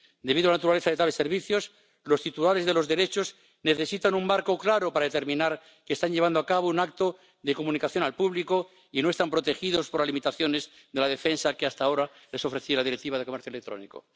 Debido a la naturaleza de tales servicios, los titulares de los derechos necesitan un marco claro para determinar que están llevando a cabo un acto de comunicación al público y no están protegidos por las limitaciones de la defensa que hasta ahora les ofreciera la Directiva de comercio electrónico.